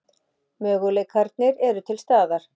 Möguleikarnir eru til staðar.